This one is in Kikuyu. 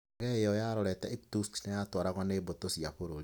Ndege ĩyo yarorete Irkutsk na yatwaragwo nĩ mbũtũ cia bũrũri.